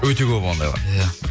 өте көп ондайлар иә